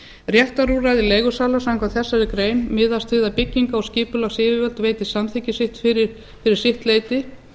réttarúrræði leigusala samkvæmt þessari grein miðast við að bygginga og skipulagsyfirvöld veiti samþykki sitt fyrir sitt leyti